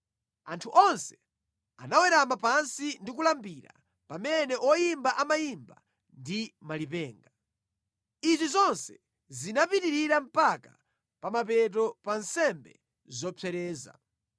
Anthu onse anawerama pansi ndi kulambira, pamene oyimba amayimba ndi malipenga. Izi zonse zinapitirira mpaka pa mapeto pa nsembe zopsereza.